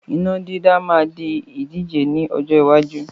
Iná dídá máa di ìdíje ni ọjọ́ iwájú